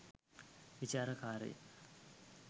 විචාරක කාර්ය